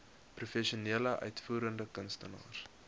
professionele uitvoerende kunstenaars